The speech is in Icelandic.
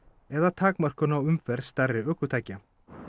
eða takmörkun á umferð stærri ökutækja